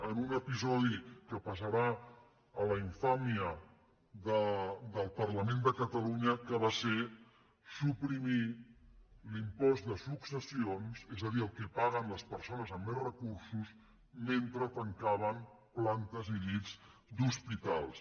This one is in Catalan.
en un episodi que passarà a la infàmia del parlament de ca·talunya que va ser suprimir l’impost de successions és a dir el que paguen les persones amb més recursos mentre tancaven plantes i llits d’hospitals